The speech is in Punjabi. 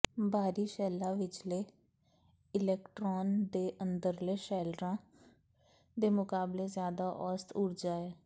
ਬਾਹਰੀ ਸ਼ੈੱਲਾਂ ਵਿਚਲੇ ਇਲੈਕਟਰੋਨ ਦੇ ਅੰਦਰਲੇ ਸ਼ੈਲਰਾਂ ਦੇ ਮੁਕਾਬਲੇ ਜ਼ਿਆਦਾ ਔਸਤ ਊਰਜਾ ਹੈ